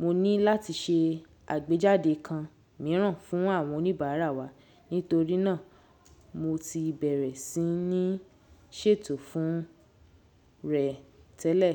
mo ní láti ṣe àgbéjáde kan mìíràn fún àwọn oníbàárà wa nítorí náà mo ti bẹ̀rẹ̀ sí ní ṣètò fún rẹ̀ tẹ́lẹ̀.